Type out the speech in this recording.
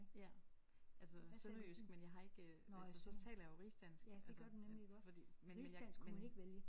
Ja altså sønderjysk men jeg har ikke øh altså så taler jeg jo rigsdansk altså fordi men jeg men